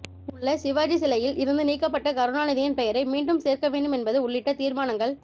உள்ள சிவாஜி சிலையில் இருந்து நீக்கப்பட்ட கருணாநிதியின் பெயரை மீண்டும் சேர்க்க வேண்டும் என்பது உள்ளிட்ட தீர்மானங்கள்